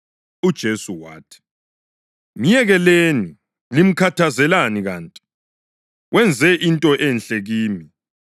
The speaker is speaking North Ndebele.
UJesu wathi, “Myekeleni. Limkhathazelani kanti? Wenze into enhle kimi.